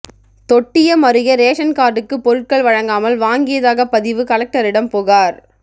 தொட்டியம் அருகே ரேஷன் கார்டுக்கு பொருட்கள் வழங்காமல் வாங்கியதாக பதிவு கலெக்டரிடம் புகார்